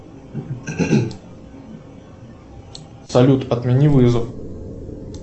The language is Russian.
салют отмени вызов